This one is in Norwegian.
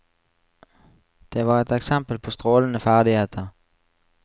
Det var et eksempel på strålende ferdigheter.